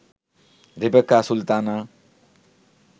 Rebecca Sultana